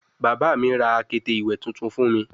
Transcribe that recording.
Baba mi ra akete iwe tuntun fun mi